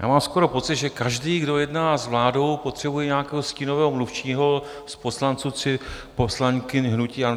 Já mám skoro pocit, že každý, kdo jedná s vládou, potřebuje nějakého stínového mluvčího z poslanců či poslankyň hnutí ANO.